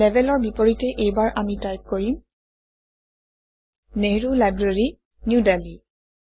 লেবেলৰ বিপৰীতে এইবাৰ আমি টাইপ কৰিম - নেহৰো লাইব্ৰেৰী নিউ Delhi